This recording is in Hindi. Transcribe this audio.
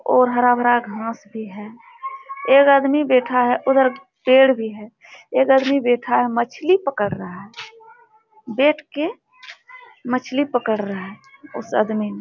और हरा-भरा घांस भी है। एक आदमी बैठा है। उधर पेड़ भी है एक आदमी बैठा है मछली पकड़ रहा है। बैठ के मछली पकड़ रहा है। उस आदमी ने --